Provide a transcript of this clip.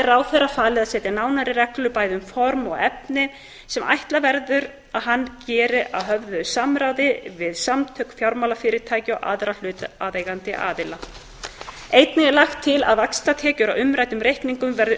ráðherra falið að setja nánari reglur bæði um form og efni sem ætla verður að hann geri að höfðu samráði við samtök fjármálafyrirtækja og aðra hlutaðeigandi aðila einnig er lagt til að vaxtatekjur af umræddum reikningum verði